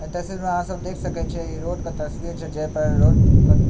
और इ तस्वीर मे आहां सब देख सके छीये इ रोड के तस्वीर छै जे पे रोड --